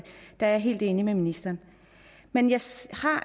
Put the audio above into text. der er jeg helt enig med ministeren men jeg står